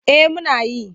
Eh muna yi.